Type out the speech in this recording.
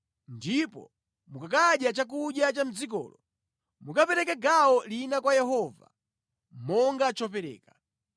ndipo mukakadya chakudya cha mʼdzikolo, mukapereke gawo lina kwa Yehova monga chopereka.